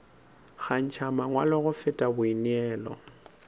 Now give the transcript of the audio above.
kgantšha mangwalo go feta boineelo